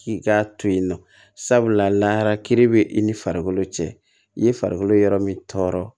K'i k'a to yen nɔ sabula layara kiiri bɛ i ni farikolo cɛ i ye farikolo yɔrɔ min tɔɔrɔ